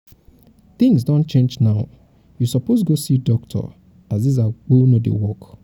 tins don change now you suppose go see doctor as dis agbo no dey work.